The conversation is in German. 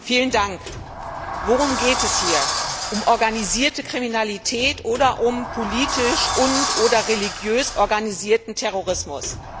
Herr Präsident! Worum geht es hier? Um organisierte Kriminalität oder um politisch und oder religiös organisierten Terrorismus?